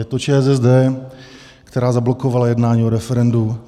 Je to ČSSD, která zablokovala jednání o referendu.